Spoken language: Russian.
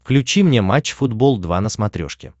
включи мне матч футбол два на смотрешке